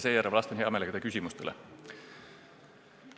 Seejärel vastan hea meelega teie küsimustele.